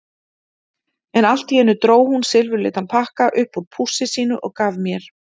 En allt í einu dró hún silfurlitan pakka upp úr pússi sínu og gaf mér.